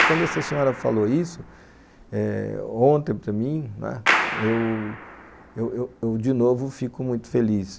E quando essa senhora falou isso eh, ontem para mim, eu eu eu de novo fico muito feliz.